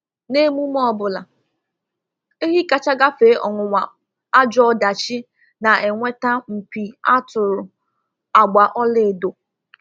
N’emume ọ bụla, ehi kacha gafe ọnwụnwa ajọ ọdachi na-enweta mpi a tụrụ agba ọla edo.